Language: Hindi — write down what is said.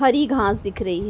हरी घाँस दिख रही है।